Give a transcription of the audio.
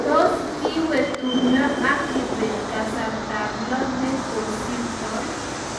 tos kiwe tumndo ab kibet kasarta ab loo ne kosirtoi